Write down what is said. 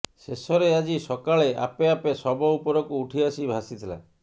ଶେଷରେ ଆଜି ସକାଳେ ଆପେ ଆପେ ଶବ ଉପରକୁ ଉଠିଆସି ଭାସିଥିଲା